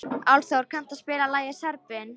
Álfþór, kanntu að spila lagið „Serbinn“?